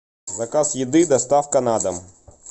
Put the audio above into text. заказ еды доставка на дом